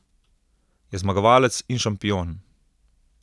Je zmagovalec in šampion.